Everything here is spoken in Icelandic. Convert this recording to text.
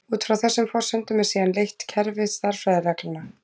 Út frá þessum forsendum er síðan leitt kerfi stærðfræðireglna.